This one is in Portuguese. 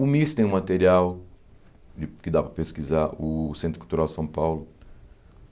O MIS tem um material de que dá para pesquisar, o Centro Cultural São Paulo.